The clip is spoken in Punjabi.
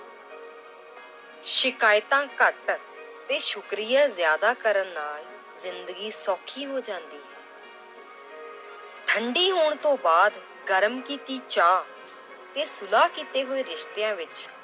ਸ਼ਿਕਾਇਤਾਂ ਘੱਟ ਤੇ ਸ਼ੁਕਰੀਆ ਜ਼ਿਆਦਾ ਕਰਨ ਨਾਲ ਜ਼ਿੰਦਗੀ ਸੌਖੀ ਹੋ ਜਾਂਦੀ ਹੈ l ਠੰਢੀ ਹੋਣ ਤੋਂ ਬਾਅਦ ਗਰਮ ਕੀਤੀ ਚਾਹ ਤੇ ਸੁਲਾ ਕੀਤੇ ਹੋਏ ਰਿਸਤਿਆਂ ਵਿੱਚ